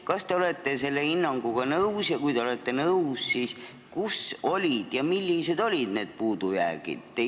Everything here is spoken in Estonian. Kas te olete selle hinnanguga nõus ja kui te olete nõus, siis kus ja millised olid need puudujäägid?